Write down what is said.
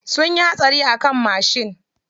Sunyi hatsari a kan mashin.